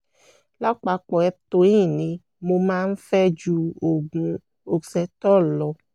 lápapọ̀ eptoin ni mo máa ń fẹ́ ju oògùn oxetol lọ